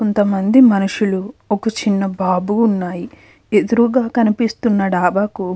కొంతమంది మనుషులు ఒక చిన్న బాబు ఉన్నాయి. ఎదురుగా కనిపిస్తున్న డాబాకు --